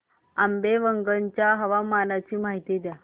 आंबेवंगन च्या हवामानाची माहिती द्या